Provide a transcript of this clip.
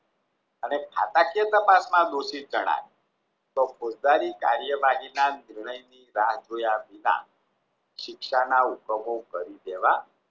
અને ખાતાકીય તપાસમાં દોષિત જણાય તો પોતાની કાર્યવાહી ના નિર્ણય જાણ જોયા વિના શિક્ષા કરી દેવા